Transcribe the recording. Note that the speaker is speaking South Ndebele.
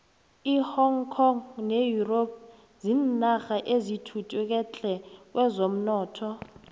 ihong kong ne europe zinarha ezithuthuke tle kwezomnotho